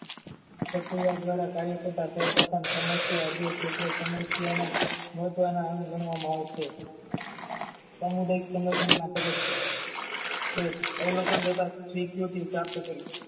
પ્રક્રિયા દ્વારા કાર્ય કરતા તોય પ્રથમ સમસ્યા અધ્યક્ષ ક્ષેત્ર સમસ્યના ને તેના અંગ ગણવામાં આવશે સામુદાયિક સંગઠન ના પ્રદિક્ષયો એ અવલોકન થતા સિતકુટી પ્રાપ્ત કરી